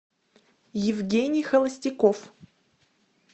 евгений холостяков